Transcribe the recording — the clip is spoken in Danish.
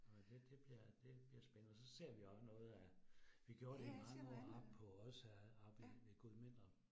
Og det det bliver det bliver spændende, og så ser vi også noget af, vi gjorde det i mange år oppe på Odsherred oppe ved Gudmindrup